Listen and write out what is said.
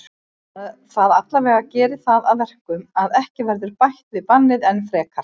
Það allavega gerir það að verkum að ekki verður bætt við bannið enn frekar.